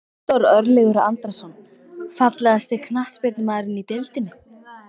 Viktor Örlygur Andrason Fallegasti knattspyrnumaðurinn í deildinni?